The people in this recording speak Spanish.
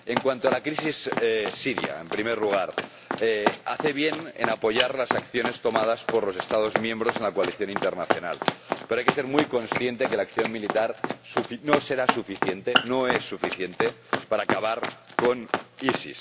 En cuanto a la crisis siria, en primer lugar, hace bien en apoyar las acciones tomadas por los Estados miembros en la coalición internacional, pero hay que ser muy consciente de que la acción militar no será suficiente, no es suficiente, para acabar con el EIIL.